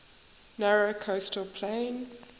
narrow coastal plain